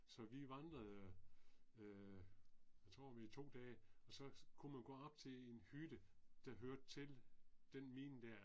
Så vi vandrede øh jeg tror i 2 dage og så kunne man gå op til en hytte der hørte til den mine der